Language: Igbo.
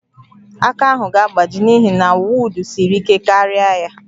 Aka ahụ ga-agbaji n'ihi na wod siri ike karịa ya